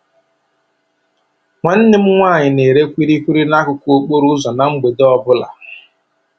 Nwanne m nwaanyị na-ere kwili kwili n'akụkụ okporo ụzọ na mgbede ọbụla.